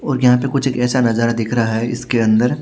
और यहां पर कुछ ऐसा नजारा दिख रहा है इसके अंदर--